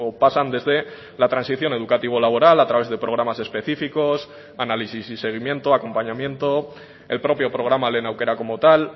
pasan desde la transición educativo laboral a través de programas específicos análisis y seguimiento acompañamiento el propio programa lehen aukera como tal